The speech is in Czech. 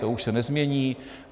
To už se nezmění.